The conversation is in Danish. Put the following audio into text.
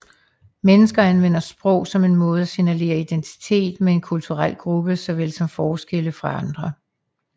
Mennesker anvender sprog som en måde at signalere identitet med en kulturel gruppe såvel som forskelle fra andre